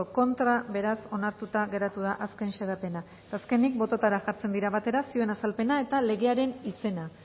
contra beraz onartuta geratu da azken xedapena azkenik bototara jartzen dira batera zioen azalpena eta legearen izena